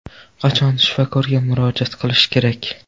Qachon shifokorga murojaat qilish kerak?